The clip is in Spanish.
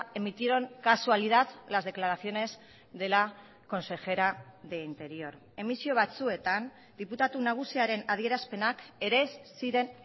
emitieron casualidad las declaraciones de la consejera de interior emisio batzuetan diputatu nagusiaren adierazpenak ere ez ziren